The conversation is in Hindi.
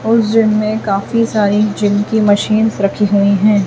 और उस जिम में काफी सारी जिम की मशीन्स रखी हुई हैं।